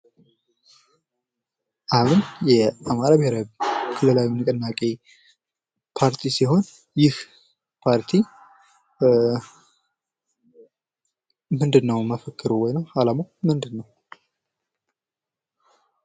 አብን ፦ የአማራ ብሔራዊ ክልላዊ ንቅናቄ ፓርቲ ሲሆን ይህ ፓርቲ ምንድነው መፈክሩ ወይም ዓላማው ምንድነው?